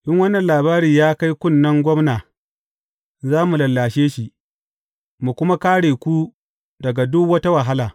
In wannan labari ya kai kunnen gwamna, za mu lallashe shi, mu kuma kāre ku daga duk wata wahala.